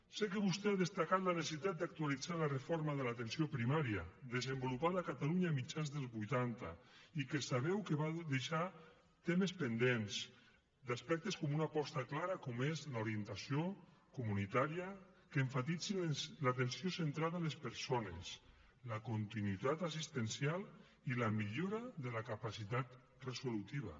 sé que vostè ha destacat la necessitat d’actualitzar la reforma de l’atenció primària desenvolupada a catalunya a mitjans dels vuitanta i que sabeu que va deixar temes pendents d’aspectes com una aposta clara com és l’orientació comunitària que emfatitzi l’atenció centrada en les persones la continuïtat assistencial i la millora de la capacitat resolutiva